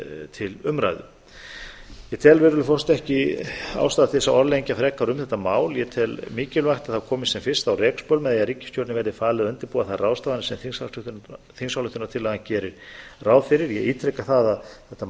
til umræðu ég tel ekki ástæðu til að orðlengja frekar um þetta mál ég tel mikilvægt að það komist sem fyrst á rekspöl með því að ríkisstjórninni verði falið að undirbúa þær ráðstafanir sem þingsályktunartillagan gerir ráð fyrir ég ítreka það að þetta